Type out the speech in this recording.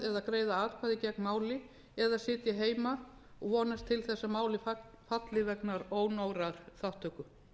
greiða atkvæði gegn máli eða sitja heima vonast til þess að málið falli vegna ónógrar þátttöku